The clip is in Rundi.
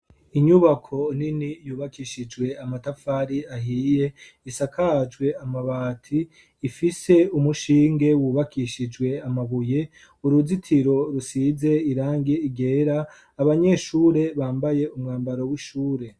Inyubako nini yubakishijwe amatafari ahiye, isakajwe amabati ifise umushinge wubakishijwe amabuye, uruzitiro rusize irangi ryera, abanyeshure bambaye umwambaro w'ishure.